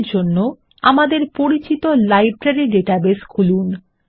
এর জন্য আমাদের পরিচিত লাইব্রেরী ডাটাবেস খুলুন